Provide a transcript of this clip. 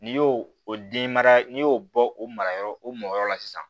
N'i y'o o den mara n'i y'o bɔ o marayɔrɔ o mɔ yɔrɔ la sisan